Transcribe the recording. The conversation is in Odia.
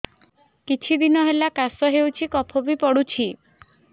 କିଛି ଦିନହେଲା କାଶ ହେଉଛି କଫ ବି ପଡୁଛି